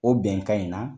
O bɛnkan in na